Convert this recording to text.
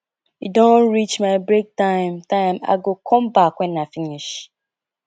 e don reach my break time time i go come back wen i finish